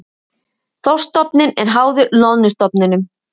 Þorskstofninn er háður loðnustofninum